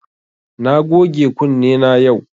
Na goge kunne na yau